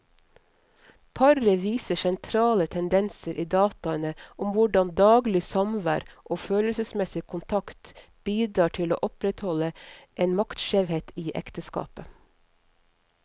Paret viser sentrale tendenser i dataene om hvordan daglig samvær og følelsesmessig kontakt bidrar til å opprettholde en maktskjevhet i ekteskapet.